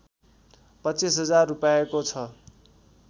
२५ हजार रूपैयाँको छ